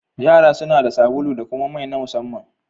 Yara suna da sabulu da kuma mai na musamman.